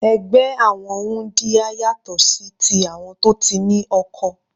Ẹgbẹ́ àwọn wúndíá yàtọ̀ sí ti àwọn tó ti ní oko.